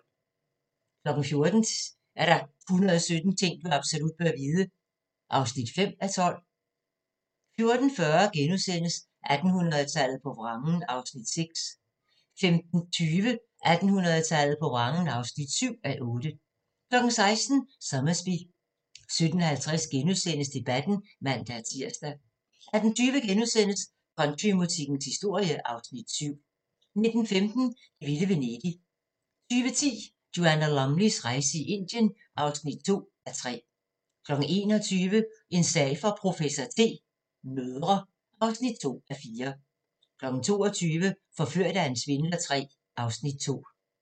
14:00: 117 ting du absolut bør vide (5:12) 14:40: 1800-tallet på vrangen (6:8)* 15:20: 1800-tallet på vrangen (7:8) 16:00: Sommersby 17:50: Debatten *(man-tir) 18:20: Countrymusikkens historie (Afs. 7)* 19:15: Det vilde Venedig 20:10: Joanna Lumleys rejse i Indien (2:3) 21:00: En sag for professor T: Mødre (2:4) 22:00: Forført af en svindler III (Afs. 2)